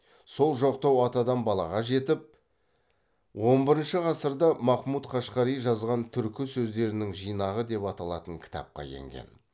сол жоқтау атадан балаға жетіп он бірінші ғасырда махмұт қашқари жазған түркі сөздерінің жинағы деп аталатын кітапқа енген